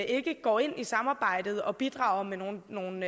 ikke går ind i samarbejdet og bidrager med nogle nogle